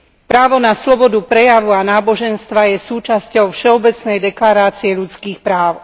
Právo na slobodu prejavu a náboženstva je súčasťou Všeobecnej deklarácie ľudských práv.